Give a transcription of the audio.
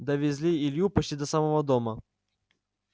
довезли илью почти до самого дома